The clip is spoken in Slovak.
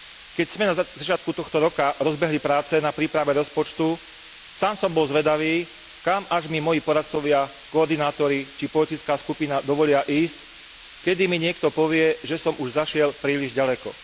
Keď sme na začiatku tohto roka rozbehli práce na príprave rozpočtu, sám som bol zvedavý, kam až mi moji poradcovia, koordinátori, či politická skupina dovolia ísť, kedy mi niekto povie, že som už zašiel príliš ďaleko.